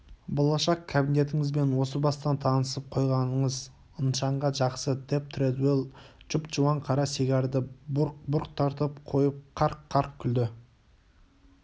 болашақ кабинетіңізбен осы бастан танысып қойғаныңыз нышанға жақсы деп тредуэлл жұп-жуан қара сигарды бұрқ-бұрқ тартып қойып қарқ-қарқ күлді